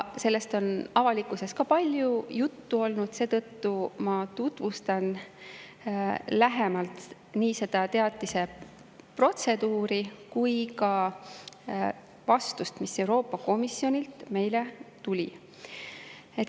Sellest on avalikkuses ka palju juttu olnud, seetõttu ma tutvustan lähemalt nii seda teatise protseduuri kui ka vastust, mis Euroopa Komisjonilt meile tuli.